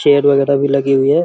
Chair वगैरह भी लगी हुई है।